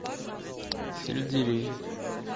сельдерей